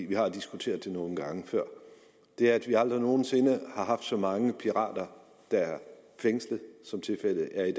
vi har diskuteret det nogle gange før er at vi aldrig nogen sinde har haft så mange pirater der er fængslet som tilfældet er i